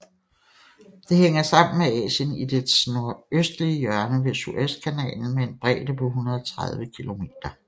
Det hænger sammen med Asien i dets nordøstlige hjørne ved Suezkanalen med en bredde på 130 km